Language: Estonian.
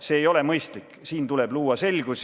See ei ole mõistlik, siin tuleb luua selgus.